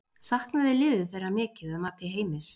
Saknaði liðið þeirra mikið að mati Heimis?